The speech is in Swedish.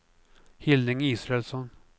Hilding Israelsson